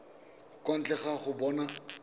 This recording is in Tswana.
kwa ntle ga go bona